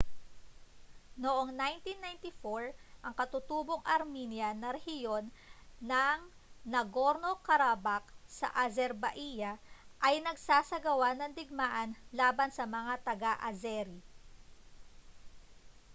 noong 1994 ang katutubong armenian na rehiyon ng nagorno-karabakh sa azerbaija ay nagsagawa ng digmaan laban sa mga taga-azeri